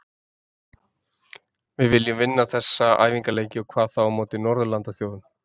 Við viljum vinna þessa æfingaleiki og hvað þá á móti Norðurlandaþjóðunum.